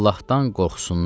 Allahdan qorxsunlar.